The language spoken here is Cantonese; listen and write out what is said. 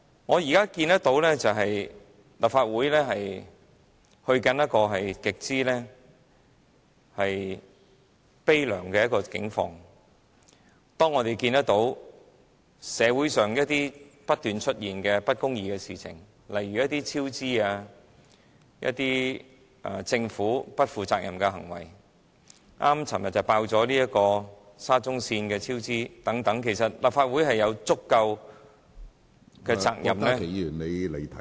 我現在看到立法會正走向極悲涼的景況，社會上不斷出現不公義的事情，例如工程項目超支、政府不負責任的行為，剛剛昨天便揭露沙中線超支的情況，其實立法會有責任......